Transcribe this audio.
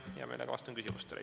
Hea meelega vastan küsimustele.